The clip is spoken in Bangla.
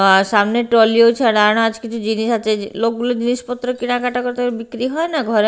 সামনে ট্রলিও আছে আর কিছু জিনিস আছে লোক গুলো জিনিস পত্র কেনা কাটা করছে ওই বিক্রি হয় না ঘরে--